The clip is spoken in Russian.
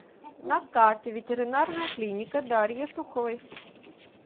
на карте ветеринарная клиника дарьи суховой